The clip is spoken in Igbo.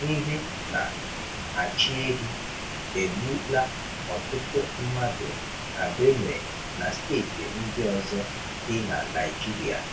Ndị na achịehi egbụ'la ọtụtụ mmadụ na Benue na steeti ndị ọzọ dị na Naịjirịa